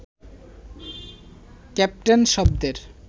captain শব্দের